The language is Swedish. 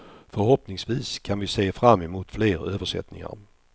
Förhoppningsvis kan vi se fram emot fler översättningar.